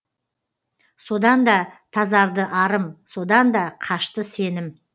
содан да тазарды арым содан да қашты сенім